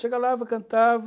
cantava,